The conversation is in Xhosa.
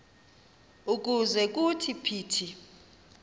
ukuze kuthi phithi